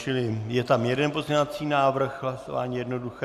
Čili je tam jeden pozměňovací návrh, hlasování jednoduché.